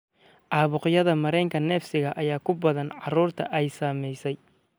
Caabuqyada mareenka neefsiga ayaa ku badan carruurta ay saameysay.